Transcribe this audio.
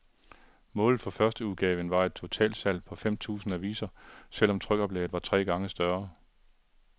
Målet for førsteudgaven var et totalsalg på fem tusind aviser, selv om trykoplaget var tre gange større.